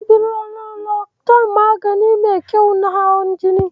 Sifironolakton magani ne mai kyau na hawan jini.